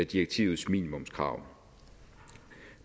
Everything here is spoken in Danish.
direktivets minimumskrav